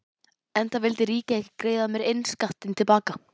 Enda vildi ríkið ekki greiða mér innskattinn til baka.